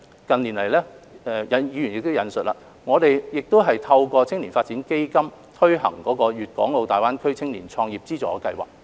近年來，正如議員亦有引述，我們亦透過青年發展基金推行粵港澳大灣區青年創業資助計劃。